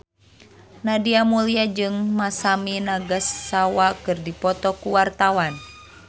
Nadia Mulya jeung Masami Nagasawa keur dipoto ku wartawan